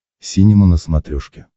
синема на смотрешке